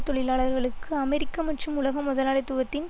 தொழிலாளர்களுக்கு அமெரிக்க மற்றும் உலக முதலாளித்துவத்தின்